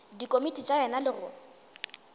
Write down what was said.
dikomiti tša yona le go